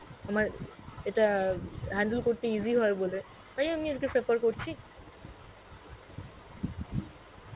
আমার ইটা handle করতে easy হয় বলে তাই আমি আজগে suffer করছি?